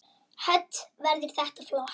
Hödd: Verður þetta flott?